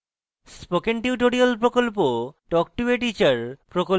spoken tutorial প্রকল্প talk to a teacher প্রকল্পের অংশবিশেষ